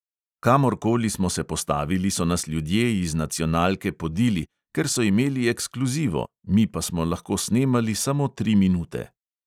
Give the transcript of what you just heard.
Kamorkoli smo se postavili, so nas ljudje iz nacionalke podili, ker so imeli ekskluzivo, mi pa smo lahko snemali samo tri minute.